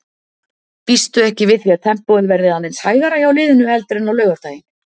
Býstu ekki við því að tempóið verði aðeins hægara hjá liðinu heldur en á laugardaginn?